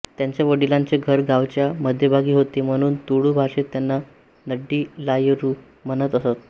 त्यांच्या वडिलांचे घर गावाच्या मध्यभागी होते म्हणून तुळू भाषेत त्यांना नडील्लायरू म्हणत असत